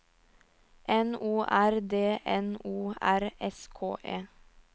N O R D N O R S K E